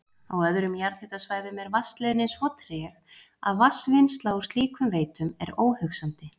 Á öðrum jarðhitasvæðum er vatnsleiðnin svo treg að vatnsvinnsla úr slíkum veitum er óhugsandi.